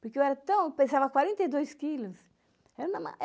Porque eu era tão, eu pesava quarenta e dois quilos. É